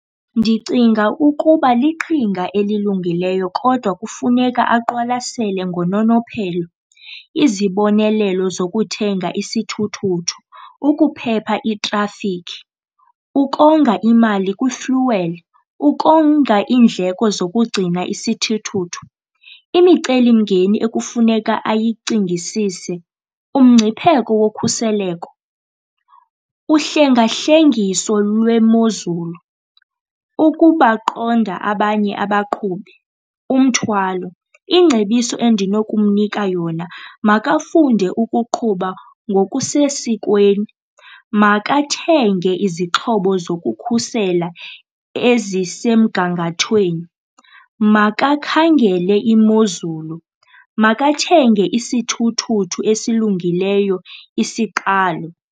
Ndicinga ukuba liqhinga elilungileyo kodwa kufuneka aqwalasele ngononophelo. Izibonelelo zokuthenga isithuthuthu, ukuphepha itrafikhi, ukonga imali kwifuweli, ukonga iindleko zokugcina isithuthuthu. Imicelimngeni ekufuneka ayicingisise, umngcipheko wokhuseleko, uhlengahlengiso lwemozulu, ukubaqonda abanye abaqhubi, umthwalo. Ingcebiso endinokumnika yona, makafunde ukuqhuba ngokusesikweni. Makathenge izixhobo zokukhusela ezisemgangathweni, makakhangele imozulu, makathenge isithuthuthu esilungileyo isiqalo.